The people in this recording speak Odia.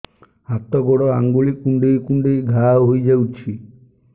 ହାତ ଗୋଡ଼ ଆଂଗୁଳି କୁଂଡେଇ କୁଂଡେଇ ଘାଆ ହୋଇଯାଉଛି